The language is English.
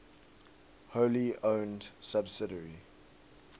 wholly owned subsidiary